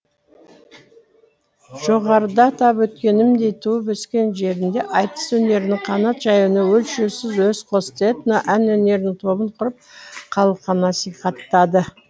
жоғарыда атап өткенімдей туып өскен жерінде айтыс өнерінің қанат жаюына өлшеусіз үлес қосты этно ән өнерінің тобын құрып халыққа насихаттады